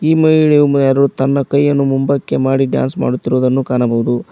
ಈ ಮಹಿಳೆಯು ಯಾರೋ ತನ್ನ ಕೈಯನ್ನು ಮುಂಬಕ್ಕೆ ಹಾಕಿ ಡ್ಯಾನ್ಸ್ ಮಾಡುತ್ತಿರುವುದನ್ನು ಕಾಣಬಹುದು.